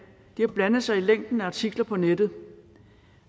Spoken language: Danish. har blandet sig i længden af artikler på nettet